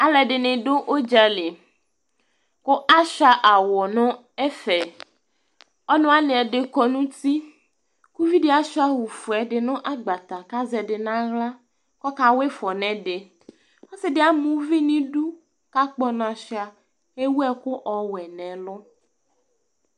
Alʋɛdɩnɩ dʋ ʋdza li kʋ asʋɩa awʋ nʋ ɛfɛ Ɔnʋ wanɩ ɛdɩ kɔ nʋ uti kʋ uvi dɩ asʋɩa awʋfue ɛdɩ nʋ agbata kʋ azɛ ɛdɩ nʋ aɣla kʋ ɔkawa ɩfɔ nʋ ɛdɩ Ɔsɩ dɩ ama uvi nʋ idu kʋ akpɔ ɔna sʋɩa kʋ ewu ɛkʋ ɔwɛ nʋ ɛlʋ